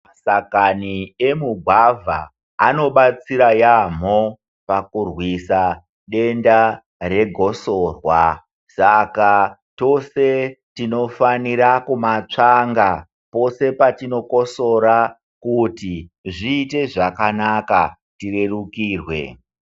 Mashakani emugwavha anobatsira yaamho pakurwisa denda regosorwa, saka tose tinofanire kumatsvanga pose patinokosora kuti zviite zvakanaka, tirerukirwe.